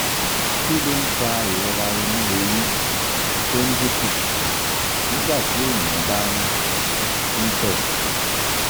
kí ló ń fa ìrora inu eyín tó ń dín kù nígbà téèyàn bá ń ń tẹ?